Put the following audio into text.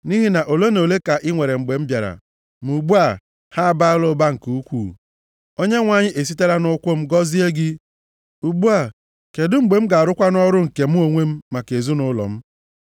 Nʼihi na ole na ole ka i nwere mgbe m bịara, ma ugbu a, ha abaala ụba nke ukwuu. Onyenwe anyị esitela nʼụkwụ m gọzie gị. Ugbu a, kedụ mgbe m ga-arụkwanụ ọrụ nke mụ onwe m maka ezinaụlọ m?”